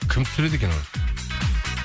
кім түсіреді екен оны